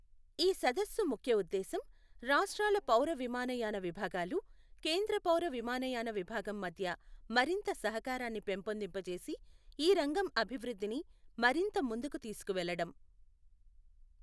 ఈ సదస్సు ముఖ్యఉద్దేశం, రాష్ట్రాల పౌరవిమానయాన విభాగాలు, కేంద్రపౌర విమానయాన విభాగం మధ్య మరింత సహకారాన్ని పెంపొందింపచేసి ఈ రంగం అభివృద్ధిని మరింత ముందుకు తీసుకువెళ్లడం.